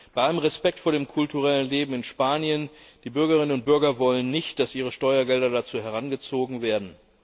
Bei allem Respekt vor dem kulturellen Leben in Spanien, die Bürgerinnen und Bürger wollen nicht, dass ihre Steuergelder dazu herangezogen werden.